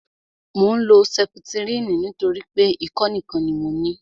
Mò ń lo sẹputirini nítorí pé ikọ́ nìkan ni mo ní